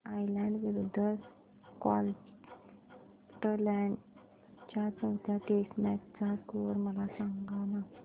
Ireland विरूद्ध Scotland च्या चौथ्या टेस्ट मॅच चा स्कोर मला सांगना